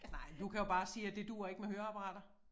Nej men du kan jo bare sige at det duer ikke med høreapparater